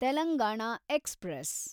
Telangana express